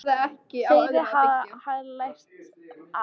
Þeirri sem hann hefði lært af.